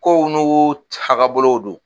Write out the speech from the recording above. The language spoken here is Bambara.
Kow n'u tahabolow do.